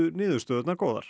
niðurstöðurnar góðar